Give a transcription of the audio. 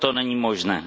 To není možné.